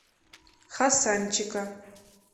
хасанчика